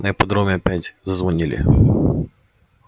на ипподроме опять зазвонили